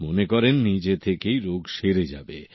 মনে করেন নিজে থেকেই রোগ সেরে যাবে